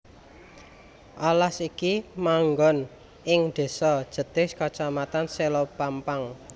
Alas iki manggon ing désa Jetis kacamatan Selopampang